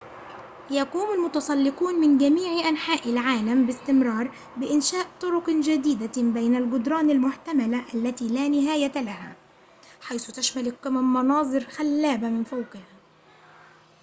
يقوم المتسلّقون من جميعِ أنحاءِ العالمِ باستمرار بإنشاء طرقٍ جديدةٍ بين الجدران المحتملةِ التي لا نهاية لها حيث تشمل القمم مناظر خلابةٍ من فوقها